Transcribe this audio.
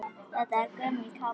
Þetta er gömul kápa.